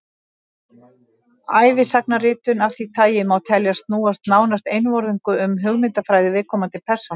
ævisagnaritun af því tagi má teljast snúast nánast einvörðungu um hugmyndafræði viðkomandi persónu